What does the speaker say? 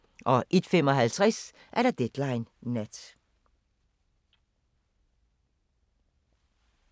01:55: Deadline Nat